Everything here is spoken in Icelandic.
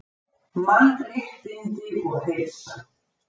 MANNRÉTTINDI OG HEILSA